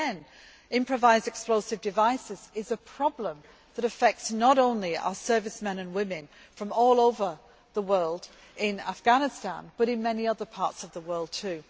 Again, improvised explosive devices are a problem that affects not only our servicemen and women from all over the world in Afghanistan, but in many other parts of the world too.